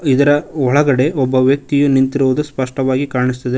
ಇದರ ಒಳಗಡೆ ಒಬ್ಬ ವ್ಯಕ್ತಿಯು ನಿಂತಿರುವುದು ಸ್ಪಷ್ಟವಾಗಿ ಕಾಣಿಸುತ್ತದೆ.